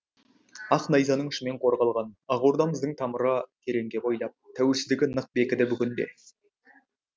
ақ найзаның ұшымен қорғалған ақ ордамыздың тамыры тереңге бойлап тәуелсіздігі нық бекіді бүгінде